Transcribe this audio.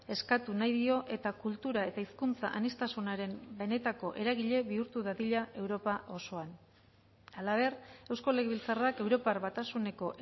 eskatu nahi dio eta kultura eta hizkuntza aniztasunaren benetako eragile bihurtu dadila europa osoan halaber eusko legebiltzarrak europar batasuneko